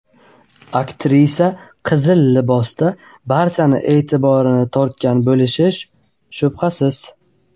Aktrisa qizil libosda barchaning e’tiborini tortgan bo‘lishi shubhasiz.